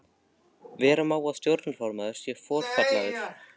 Vera má að stjórnarformaður sé forfallaður.